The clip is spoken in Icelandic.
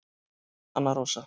Anna Rósa